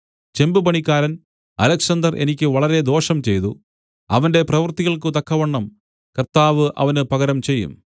ചെമ്പുപണിക്കാരൻ Alexander എനിക്ക് വളരെ ദോഷം ചെയ്തു അവന്റെ പ്രവൃത്തികൾക്കു തക്കവണ്ണം കർത്താവ് അവന് പകരം ചെയ്യും